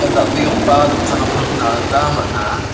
ian dal·begipa dokan nokko nikna gita man·a.